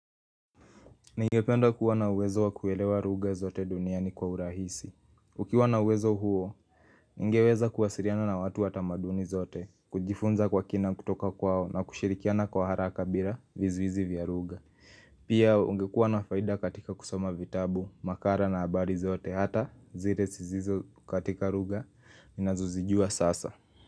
Ningependa kuwa na uwezo wakuelewa ruga zote duniani kwa urahisi Ukiwa na uwezo huo, ningeweza kuwasiriana na watu watamaduni zote kujifunza kwa kina kutoka kwao na kushirikiana kwa haraka bira vizuizi vya ruga Pia ungekuwa na faida katika kusoma vitabu, makara na abari zote Hata zire sizizo katika ruga, ninazozijua sasa.